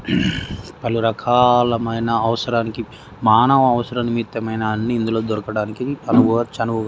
పలు రకాలమైన అవసరానికి మానవ అవసరానికి నిమిత్తమైన అన్ని ఇందులో దొరకడానికి అనువు--